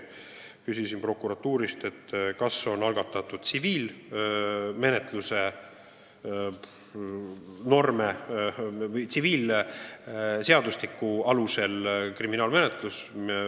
Ma küsisin prokuratuurist, kas on algatatud tsiviilseadustiku alusel kriminaalmenetlus.